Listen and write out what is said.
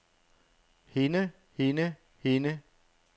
hende hende hende